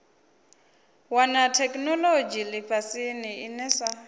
wana theikinolodzhi lifhasini ine sa